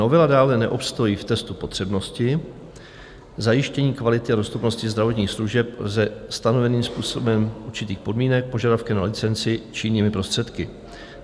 Novela dále neobstojí v testu potřebnosti, zajištění kvality a dostupnosti zdravotních služeb lze stanoveným způsobem, určitých podmínek, požadavky na licenci či jinými prostředky.